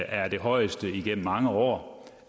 er det højeste igennem mange år